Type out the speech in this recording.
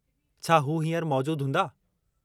छा हू हींअर मौजूदु हूंदा ?